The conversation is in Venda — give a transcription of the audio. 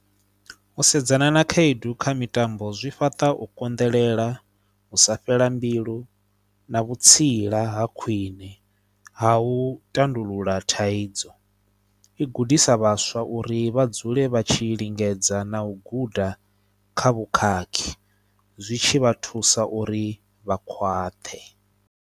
U sedzana na khaedu kha mitambo zwi fhaṱa u konḓelela, u sa fhela mbilu na vhutsila ha khwine ha u tandulula thaidzo. I gudisa vhaswa uri vha dzule vha tshi lingedza na u guda kha vhukhakhi, zwi tshi vha thusa uri vha khwaṱhe.